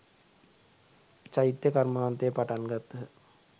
චෛත්‍ය කර්මාන්තය පටන් ගත්හ.